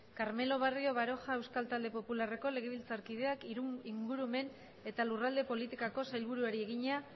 carmelo barrio baroja euskal talde popularreko legebiltzarkideak ingurumen eta lurralde politikako sailburuari egina